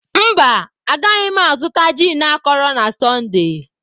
Mba, agaghị m azụta gin akọrọ na Sọnde.